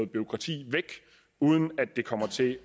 bureaukrati væk uden at det kommer til